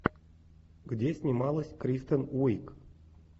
где снималась кристен уиг